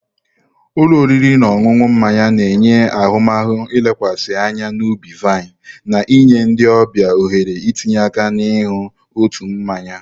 Ụlọ oriri na ọṅụṅụ mmanya na-enye ahụmahụ lekwasịrị anya n'ubi-vine, na-enye ndị ọbịa ohere itinye aka na-iñu ụtọ mmanya.